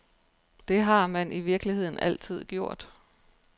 Det har man i virkeligheden altid gjort.